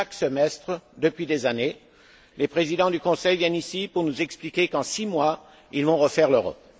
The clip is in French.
Chaque semestre, depuis des années, les présidents du Conseil viennent ici pour nous expliquer qu'en six mois, ils vont refaire l'Europe.